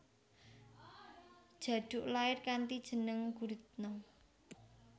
Djaduk lair kanthi jeneng Guritno